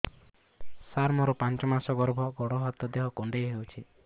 ସାର ମୋର ପାଞ୍ଚ ମାସ ଗର୍ଭ ଗୋଡ ହାତ ଦେହ କୁଣ୍ଡେଇ ହେଉଛି